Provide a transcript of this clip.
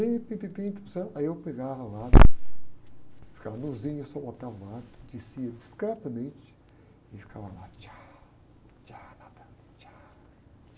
sí eu pegava lá, ficava nuzinho, só botava um habito, descia discretamente e ficava lá. nadando...